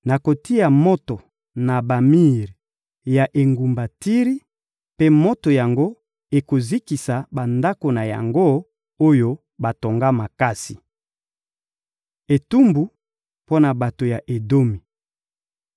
Nakotia moto na bamir ya engumba Tiri, mpe moto yango ekozikisa bandako na yango, oyo batonga makasi.» Etumbu mpo na bato ya Edomi